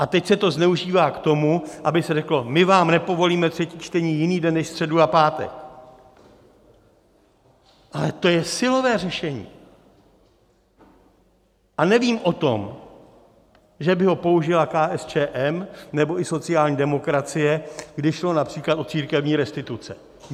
A teď se to zneužívá k tomu, aby se řeklo: My vám nepovolíme třetí čtení jiný den než středu a pátek, ale to je silové řešení, a nevím o tom, že by ho použila KSČM nebo i sociální demokracie, když šlo například o církevní restituce.